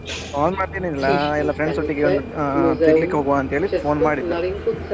Call ಮಾಡಿದ್ದು ಏನು ಇಲ್ಲ ಎಲ್ಲ friends ಒಟ್ಟಿಗೆ ಒಂದ್ ಆಹ್ ತಿರ್ಗ್ಲಿಕ್ಕೆ ಹೋಗುವ ಅಂತ ಹೇಳಿ phone ಮಾಡಿದ್ದು.